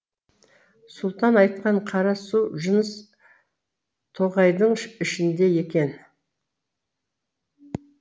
сұлтан айтқан қара су жыныс тоғайдың ішінде екен